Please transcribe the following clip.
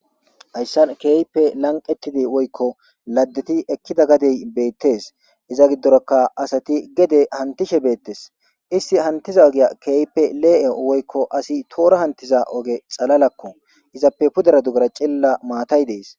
Haysa keehippe lanqetidi woyko ladetidi ekida bessati beettes. iza gidora asati gede hantishe beetes. Isti hantiza ogiya keehippe le'e woyko asi tohora hantiza ogeko. Izappe puters dugera maatay dees.